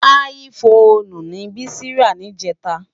Áyì Fónú ni Bisi rá nijètá